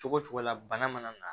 Cogo cogo la bana mana na